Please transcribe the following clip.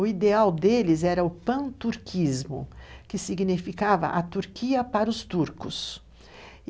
O ideal deles era o Panturquismo, que significava a Turquia para os turcos.